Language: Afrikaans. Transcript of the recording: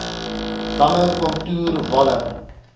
damme kontoer walle